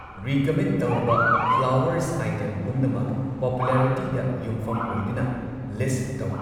Recommend ꯇꯧꯔꯕ flowers item ꯄꯨꯝꯅꯃꯛ ꯄꯣꯄꯨꯂꯔꯤꯇꯤꯗ ꯌꯨꯝꯐꯝ ꯑꯣꯢꯗꯨꯅ ꯂꯤꯁꯠ ꯇꯧ꯫